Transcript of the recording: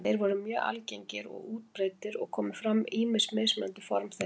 Þeir voru mjög algengir og útbreiddir og komu fram ýmis mismunandi form þeirra.